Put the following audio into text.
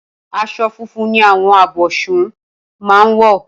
As̩o̩ funfun ni àwo̩n abò̩s̩un máa ń wò̩